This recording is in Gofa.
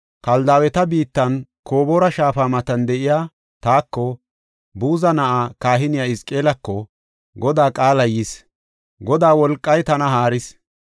Kaldaaweta biittan Koboora shaafa matan de7iya taako, Buza na7aa, kahiniya Hizqeelako, Godaa qaalay yis; Godaa wolqay tana haaris.